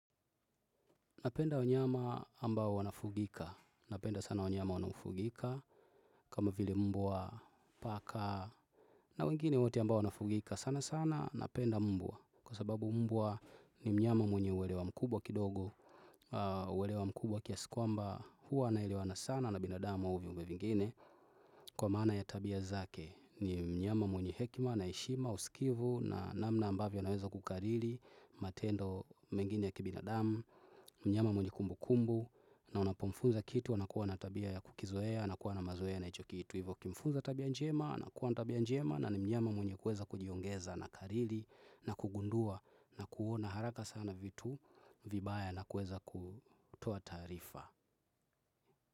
Napenda wanyama ambao wanafugika, napenda sana wanyama wanafugika, kama vile mbwa, paka na wengine wote ambao wanafugika sana sana napenda mbwa. Kwa sababu mbwa ni mnyama mwenye uelewa mkubwa kidogo, uelewa mkubwa kiasi kwamba huwa ina elewana sana na binadama au viumbe vingine kwa maana ya tabia zake. Ni mnyama mwenye hekima na heshima usikivu, na namna ambavyo naweza kukarili, matendo mengine ya kibina dam, mnyama mwenye kumbu kumbu, na unapomfunza kitu wanakuwa na tabia ya kukizoea, nakuwa na mazoea na icho kitu. Hivyo kumfunza tabia njema, na kuwa na tabia njema na ni mnyama mwenye kuweza kujiongeza na kariri na kugundua na kuona haraka sana vitu vibaya na kuweza kutoa tarifa.